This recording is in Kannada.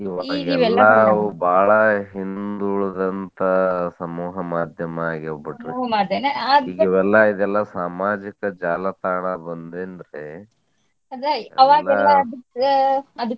ಬಾಳ ಹಿಂದ್ ಉಳದಂತಾ ಸಮೂಹ ಮಾಧ್ಯಮ ಆಗ್ಯಾವ. ಇವೆಲ್ಲಾ ಈಗ ಸಾಮಾಜಿಕ ಜಾಲತಾಣ ಬಂದೇತ್ರಿ .